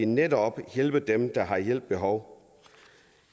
netop hjælper dem der har hjælp behov